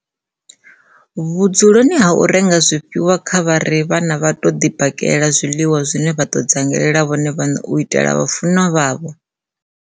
Vhudzuloni ha u renga zwifhiwa kha vha ri vhana vha tou ḓibakela zwiḽiwa zwine vha ḓo dzangela vhone vhaṋe u itela vhafu nwa vhavho